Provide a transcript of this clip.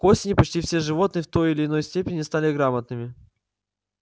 к осени почти все животные в той или иной степени стали грамотными